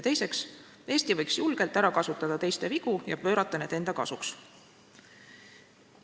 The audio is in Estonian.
Teiseks, Eesti võiks julgelt ära kasutada teiste vigu ja pöörata need enda kasuks.